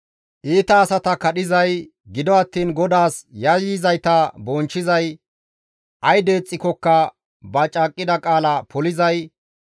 Iita asata kadhizay, gido attiin GODAAS yayyizayta bonchchizay, ay deexxikkoka ba caaqqida qaala polizay,